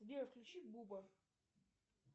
сбер включи буба